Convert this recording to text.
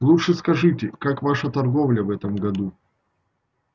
лучше скажите как ваша торговля в этом году